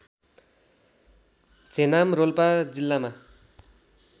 झेनाम रोल्पा जिल्लामा